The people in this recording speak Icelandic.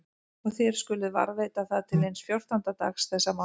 Og þér skuluð varðveita það til hins fjórtánda dags þessa mánaðar.